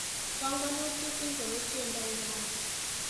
Panganutik ingoro chendoi rani?